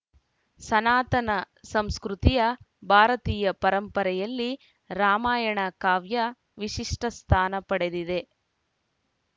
ಸನಾತನ ಸಂಸ್ಕೃತಿಯ ಭಾರತೀಯ ಪರಂಪರೆಯಲ್ಲಿ ರಾಮಾಯಣ ಕಾವ್ಯ ವಿಶಿಷ್ಟಸ್ಥಾನ ಪಡೆದಿದೆ